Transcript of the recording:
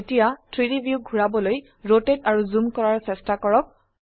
এতিয়া 3ডি viewক ঘোৰাবলৈ ৰোটেট আৰু জুম কৰাৰ চেষ্টা কৰক